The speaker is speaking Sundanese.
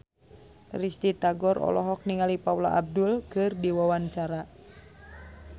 Risty Tagor olohok ningali Paula Abdul keur diwawancara